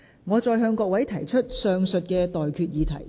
我現在向各位提出上述待決議題。